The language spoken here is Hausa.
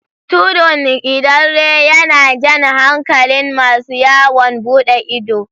Tudun Idanre yana jan hankalin masu yawon buɗe ido